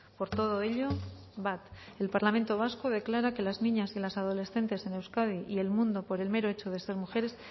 por todo ello bat el parlamento vasco declara que las niñas y las adolescentes en euskadi y el mundo por el mero hecho de ser mujeres